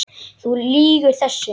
Þú lýgur þessu!